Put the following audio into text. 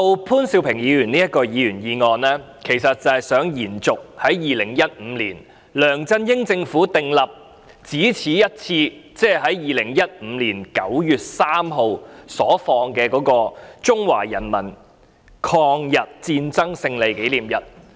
潘兆平議員提出的議員議案，其實是想延續2015年梁振英政府訂立的一次過假期，即2015年9月3日的中國人民抗日戰爭勝利紀念日。